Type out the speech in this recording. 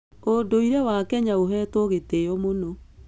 ũndũire wa Kenya ũhetwo gĩtĩo mũno.